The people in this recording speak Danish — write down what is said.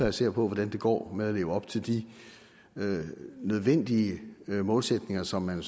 og ser på hvordan det går med at leve op til de nødvendige målsætninger som man